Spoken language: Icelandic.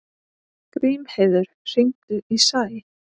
Grímheiður, hringdu í Sæ.